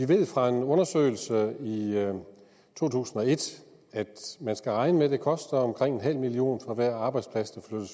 vi ved fra en undersøgelse og et at man skal regne med at det koster omkring nul million kroner for hver arbejdsplads der